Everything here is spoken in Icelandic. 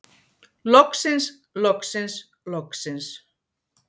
Loksins loksins loksins.